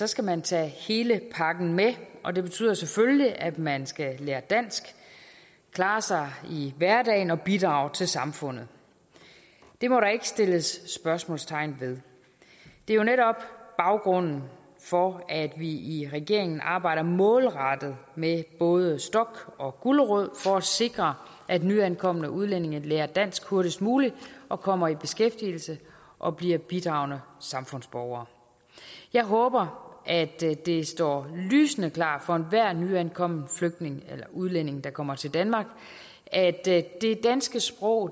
skal man tage hele pakken med og det betyder selvfølgelig at man skal lære dansk klare sig i hverdagen og bidrage til samfundet det må der ikke sættes spørgsmålstegn ved det er jo netop baggrunden for at vi i regeringen arbejder målrettet med både stok og gulerod for at sikre at nyankomne udlændinge lærer dansk hurtigst muligt og kommer i beskæftigelse og bliver bidragende samfundsborgere jeg håber at det står lysende klart for enhver nyankommen flygtning eller udlænding der kommer til danmark at det danske sprog